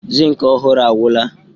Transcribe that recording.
Zinc ọhụrụ agwụla.